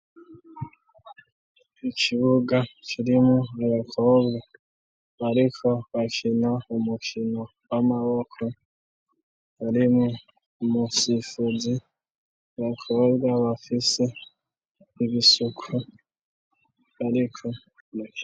Ikibuga kirimwo abakobwa bariko bakina umukino w'amaboko harimwo umusifuzi abakobwa bafise ibisuku ariko.